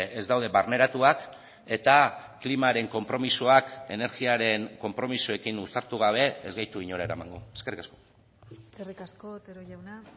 ez daude barneratuak eta klimaren konpromisoak energiaren konpromisoekin uztartu gabe ez gaitu inora eramango eskerrik asko eskerrik asko otero jauna